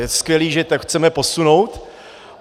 Je skvělý, že to chceme posunout.